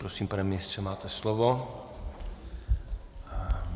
Prosím, pane ministře, máte slovo.